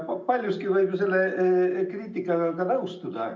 Paljuski võib ju selle kriitikaga nõustuda.